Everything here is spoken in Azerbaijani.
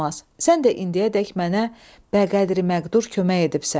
Sən də indiyədək mənə bəqədri məqdur kömək edibsən.